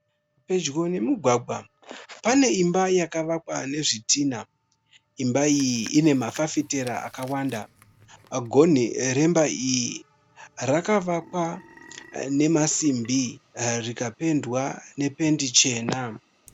Pedyo nomugwagwa, pane imba yakavakwa nezvitinha. Imba iyi ine mafafitera akawanda. Gonhi remba iyi rakavakwa nemasimbi rikapendwa nependi chena.